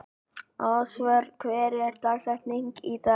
Ásvör, hver er dagsetningin í dag?